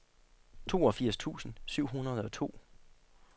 toogfirs tusind syv hundrede og to